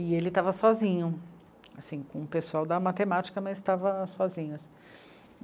E ele estava sozinho, assim, com o pessoal da matemática, mas estava sozinho.